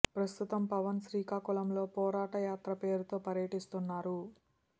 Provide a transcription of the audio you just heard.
ప్రస్తుతం పవన్ శ్రీకాకుళం లో పోరాట యాత్ర పేరుతో పర్యటిస్తున్నారు